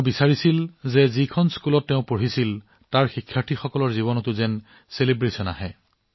তেওঁ বিদ্যালয়খনৰ শিক্ষাৰ্থীসকলৰ জীৱনো উদযাপিত কৰাটো বিচাৰিছিল